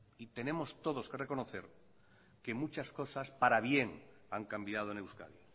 y tenemos todos que reconocer que muchas cosas para bien han cambiado en euskadi